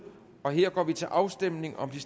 og her går vi til afstemning om de